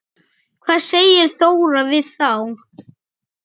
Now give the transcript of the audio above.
Hvað segir Þóra við þá?